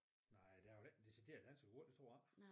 Nej der er jo ikke decideret dansegulv det tror jeg ikke